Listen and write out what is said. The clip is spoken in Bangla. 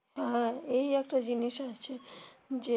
হ্যা এই একটা জিনিস আছে. যে